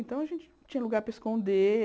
Então, a gente tinha lugar para esconder...